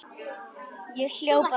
Ég hljóp af stað.